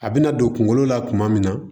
A bɛna don kungolo la kuma min na